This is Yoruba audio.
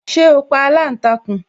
Ṣé o pa aláǹtakùn